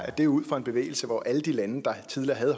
at det er ud fra en bevægelse hvor man i alle de lande der tidligere havde